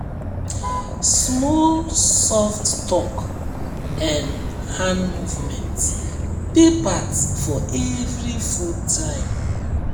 small soft talk and hand movement dey part for every food time